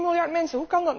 Eén miljard mensen!